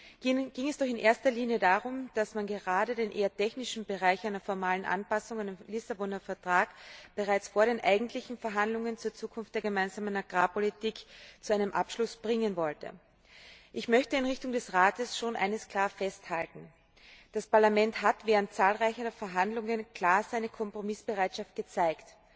Dabei ging es doch in erster Linie darum, dass man gerade den eher technischen Bereich einer formalen Anpassung unter dem Lissabonner Vertrag bereits vor den eigentlichen Verhandlungen zur Zukunft der Gemeinsamen Agrarpolitik zu einem Abschluss bringen wollte. Ich möchte in Richtung des Rates schon eines klar festhalten Das Parlament hat während zahlreicher Verhandlungen klar seine Kompromissbereitschaft gezeigt.